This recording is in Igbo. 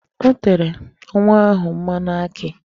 O tere nwa ahụ mmanụ akị.